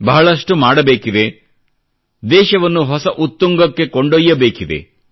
ಬಹಳಷ್ಟು ಮಾಡಬೇಕಿದೆ ದೇಶವನ್ನು ಹೊಸ ಉತ್ತುಂಗಕ್ಕೆ ಕೊಂಡೊಯ್ಯಬೇಕಿದೆ